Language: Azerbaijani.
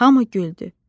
Hamı güldü.